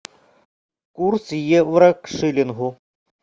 курс евро к шиллингу